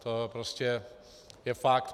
To je prostě fakt.